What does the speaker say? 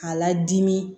K'a ladimi